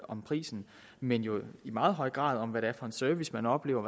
om prisen men jo i meget høj grad også om hvilken service man oplever